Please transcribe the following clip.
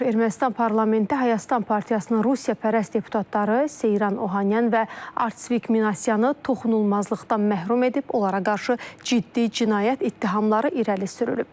Ermənistan parlamenti Hayastan partiyasının Rusiyapərəst deputatları Seyran Ohanyan və Artsvik Minasyanı toxunulmazlıqdan məhrum edib, onlara qarşı ciddi cinayət ittihamları irəli sürülüb.